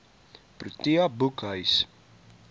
protea boekhuis